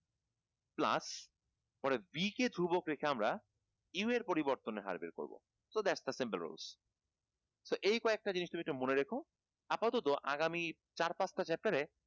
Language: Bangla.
plus পরে b কে ধ্রুবক রেখে আমরা u এর পরিবর্তনের হার বের করবো তো that's the simple rules তো এই কয়েকটা জিনিস তুমি একটু মনে রেখো আপাদত আগামী চার পাঁচ টা chapter এ